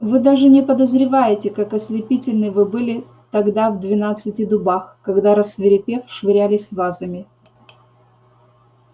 вы даже не подозреваете как ослепительны вы были тогда в двенадцати дубах когда рассвирепев швырялись вазами